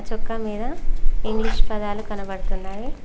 చొక్క మీద ఇంగ్లీష్ పదాలు కనబడుతున్నాయి.